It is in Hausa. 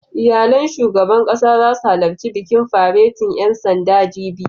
Iyalan shugaban ƙasa zasu halarci bikin faretin ƴan sandan, jibi